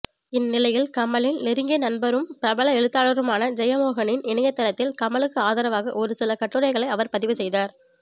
இந்நிலையில் கமலின் நெருங்கிய நண்பரும் பிரபல எழுத்தாளருமான ஜெயமோகனின் இணையதளத்தில் கமலுக்கு ஆதரவாக ஒருசில கட்டுரைகளை அவர் பதிவு செய்தார்